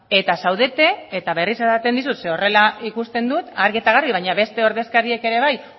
eta zaudete eta berriz esaten dizut zeren horrela ikusten dut argi eta garbi baina beste ordezkariek ere bai